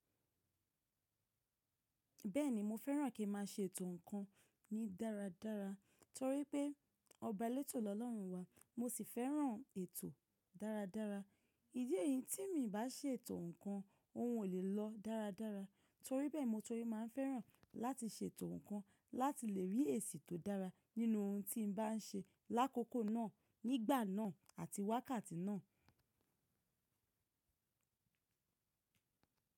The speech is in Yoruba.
Bẹ́ẹ̀ni mo fẹ́ràn kí ma ṣe ètò nǹkan mi dáradára torí pé ọba lẹ́tò lọ́lọ́run wa. Mo sì fẹ́ràn ètò dáradára. Ìdí eyín tí mi bá se ètò nǹkan, ohun ò lè lọ dáradára torí bẹ́ẹ̀ mo torí máa fẹ́ràn láti ṣe ètò nǹkan láti lè rí èsì tó dára nínú ohun tí n bá n ṣe lákòókò náà, nígbà náà àti wákàtí náà.